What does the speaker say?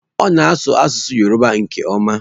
Ọ na-asụ asụsụ Yọrụba nke ọma.